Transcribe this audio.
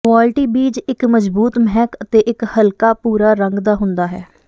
quality ਬੀਜ ਇੱਕ ਮਜ਼ਬੂਤ ਮਹਿਕ ਅਤੇ ਇੱਕ ਹਲਕਾ ਭੂਰਾ ਰੰਗ ਦਾ ਹੁੰਦਾ ਹੈ